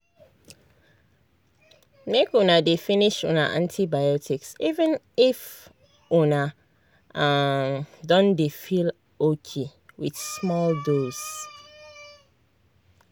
make una dey finish una antibiotics even if una um don dey feel okay with small dose.